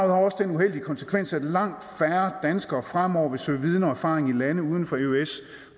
uheldige konsekvens at langt færre danskere fremover vil søge viden og erfaring i lande uden for eøs